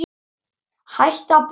Hættir að brosa.